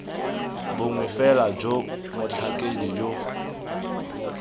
bongwe fela jo motlhakedi yo